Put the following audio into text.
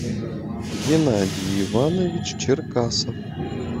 геннадий иванович черкасов